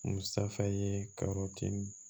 Musa ye ka yɔrɔtigi